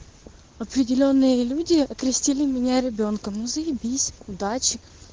определённые люди окрестили меня ребёнком ну заебись удачи